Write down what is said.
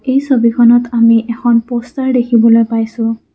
এই ছবিখনত আমি এখন প'ষ্টাৰ দেখিবলৈ পাইছোঁ।